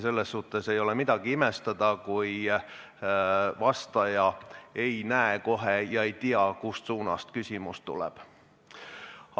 Ei ole midagi imestada, kui vastaja ei näe kohe küsijat ega tea, kust suunast küsimus tuleb.